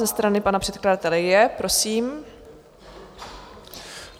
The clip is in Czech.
Ze strany pana předkladatele je, prosím.